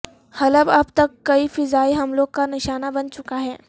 حلب اب تک کئی فضائی حملوں کا نشانہ بن چکا ہے